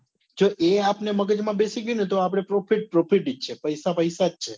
જે એ આપ ને મગજ માં બેસી ગયું ને તો profit profit જ છે પૈસા પૈસા જ છે